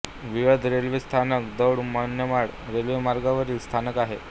Vilad railway स्थानक दौंड मनमाड रेल्वेमार्गावरील स्थानक आहे